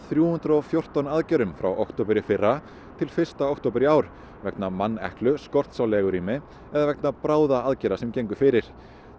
þrjú hundruð og fjórtán aðgerðum frá október í fyrra til fyrsta október í ár vegna manneklu skorts á legurými eða vegna bráðaaðgerða sem gengu fyrir